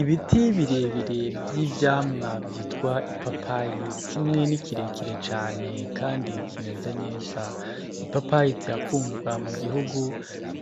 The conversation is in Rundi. Ibiti birebire vy'ivyamwa vyitwa ipapayi, kimwe ni kirekire cane kandi kimeze neza. Ipapayi zirakundwa mu gihugu,